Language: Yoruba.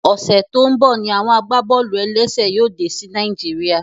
Ọsẹ tí n bọ ní àwọn agbábọ́ọlù-ẹlẹ́sẹ̀ yóò dé sí Naijiria